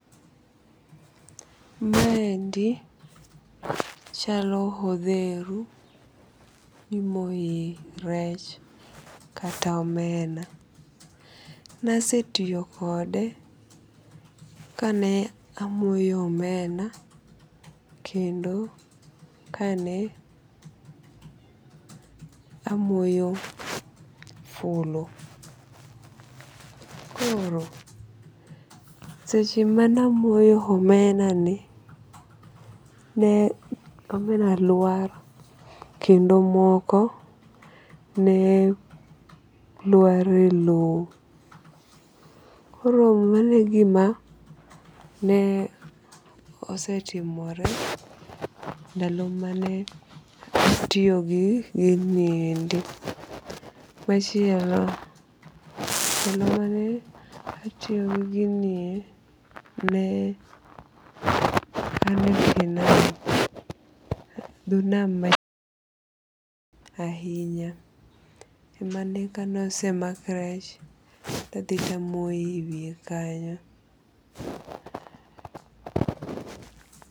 Maendi chalo odheru mimoye rech kata omena. Nasetiyo kode kane amoyo omena kendo kane amoyo fulu. Koro, seche mane amoyo omena ni ne omena lwar kendo moko ne lwar e low. Koro mano e gima ne osetimore ndalo mane atiyogi giniendi. Machielo ndalo mane atiyo gi ginie ne ane tie nam dho nam ahinya e mane kane ose mak rech to adhi to amoye e wiye kanyo